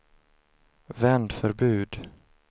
vändförbud